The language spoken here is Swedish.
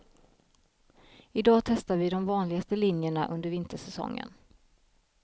I dag testar vi de vanligaste linjerna under vintersäsongen.